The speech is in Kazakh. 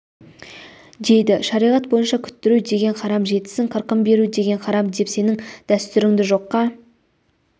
дейді шариғат бойынша күттіру деген харам жетісін қырқын беру деген харам деп сенің дәстүріңді жоққа